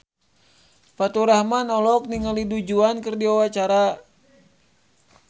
Faturrahman olohok ningali Du Juan keur diwawancara